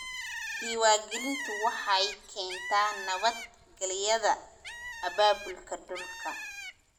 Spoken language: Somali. Diiwaangelintu waxay keentaa nabad-gelyada abaabulka dhulka.